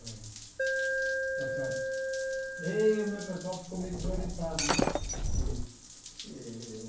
Está certo eh o meu pessoal ficou meio desorientado né. E eh